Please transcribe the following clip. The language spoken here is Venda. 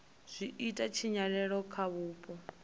zwi ita tshinyalelo kha vhupo